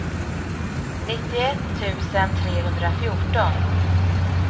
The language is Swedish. nittioett tusen trehundrafjorton